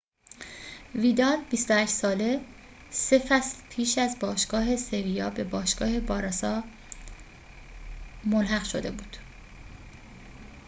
ویدال ۲۸ ساله سه فصل پیش از باشگاه سِویا به باشگاه بارسا ملحق شده بود